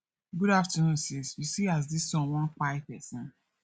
good afternoon sis you see as dis sun wan kpai pesin